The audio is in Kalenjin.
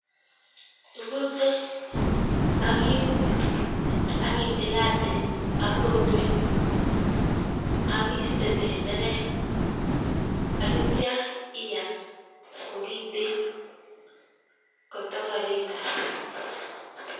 Ibute ak iun ak ititualil ak ritwet, ak iiste tenderek ak ityo iam kokiten kotikir itar.